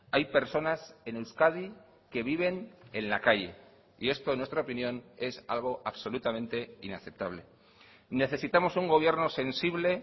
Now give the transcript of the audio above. hay personas en euskadi que viven en la calle y esto en nuestra opinión es algo absolutamente inaceptable necesitamos un gobierno sensible